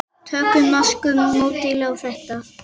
Tökum norska módelið á þetta.